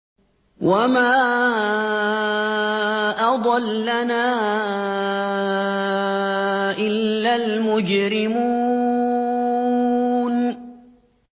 وَمَا أَضَلَّنَا إِلَّا الْمُجْرِمُونَ